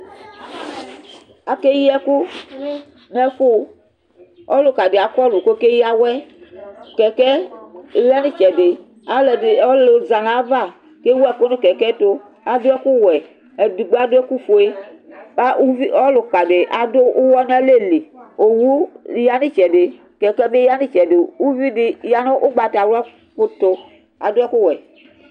akeyi ɛkò n'ɛfu ɔluka di akɔlu ko ɔkeya awɛ kɛkɛ ya n'itsɛdi aloɛdi ɔlò za n'ava kewu ɛkò no kɛkɛ to ado ɛkò wɛ edigbo ado ɛkò fue uvi ɔluka di ado uwɔ n'alɛ li owu ya n'itsɛdi kɛkɛ bi ya n'itsɛdi uvi di ya no ugbata di to ado ɛkò wɛ